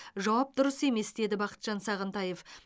жауап дұрыс емес деді бақытжан сағынтаев